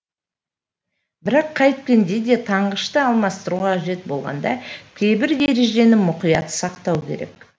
бірақ қайткенде де таңғышты алмастыру қажет болғанда кейбір ережені мұқият сақтау керек